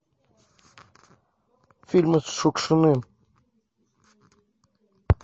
фильмы с шукшиным